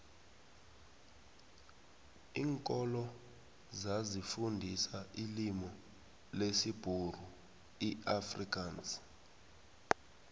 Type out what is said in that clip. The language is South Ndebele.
linkolo zazi fundisa ilimu lesibhuru iafrikansi